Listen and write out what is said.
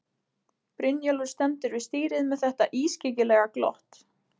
Brynjólfur stendur við stýrið með þetta ískyggilega glott.